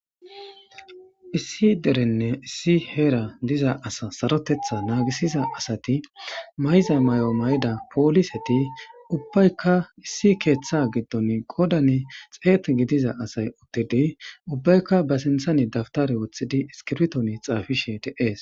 Issi derenne issi heera diza asa sarotetha naagisiza asati mayzay may'o may'da pooliseti ubbaykka issi keeththa giddon godan xeet gidiza asay uttidi ubbaykka ba sinthani dabtare woththidi iskibton xaafishe deees.